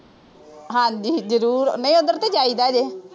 ਹਾਂਜੀ ਜ਼ਰੂਰ ਨਹੀਂ ਉੱਧਰ ਤਾਂ ਜਾਈਦਾ ਜੇ,